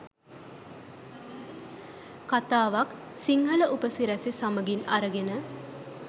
කතාවක් සිංහල උපසිරැසි සමගින් අරගෙන